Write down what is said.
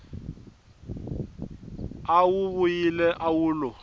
a wu vuyile wu lo